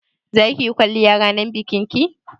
Za ki yi kwalliya ranar bikin ki?